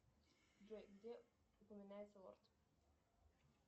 джой где упоминается лорд